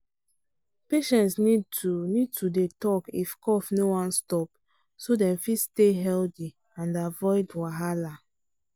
patients need to need to dey talk if cough no wan stop so dem fit stay healthy and avoid wahala